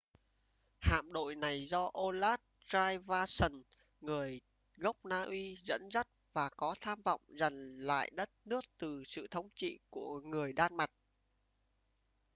hạm đội này do olaf trygvasson người gốc na uy dẫn dắt và có tham vọng giành lại đất nước từ sự thống trị của người đan mạch